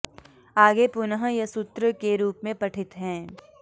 आगे पुनः यह सूत्र के रूप में पठित हैं